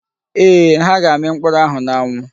Eeh, ha ga m ami mkpuru ahu n'anwu.